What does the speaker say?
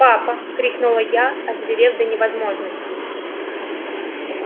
папа крикнула я озверев до невозможности